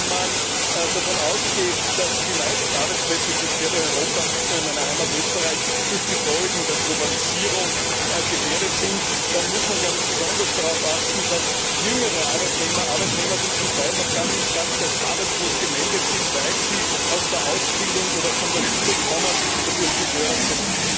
Wenn man davon ausgeht, dass die meisten Arbeitsplätze, die quer durch Europa nicht nur in meiner Heimat Österreich durch die Folgen der Globalisierung gefährdet sind, dann muss man besonders darauf achten, dass jüngere Arbeitnehmer Arbeitnehmer, die zum Teil noch gar nicht als arbeitslos gemeldet sind, weil sie aus der Ausbildung oder von der Schule kommen dadurch gefährdet sind.